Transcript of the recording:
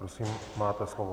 Prosím, máte slovo.